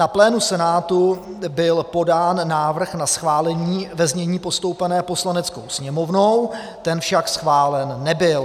Na plénu Senátu byl podán návrh na schválení ve znění postoupeném Poslaneckou sněmovnou, ten však schválen nebyl.